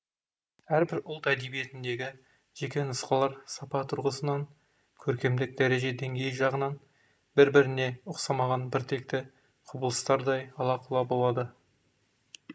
әрбір ұлт әдебиетіндегі жеке нұсқалар сапа тұрғысынан көркемдік дәреже деңгейі жағынан бір біріне ұқсамаған біртекті құбылыстардай ала құла болды